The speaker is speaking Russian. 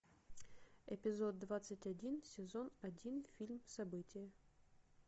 эпизод двадцать один сезон один фильм событие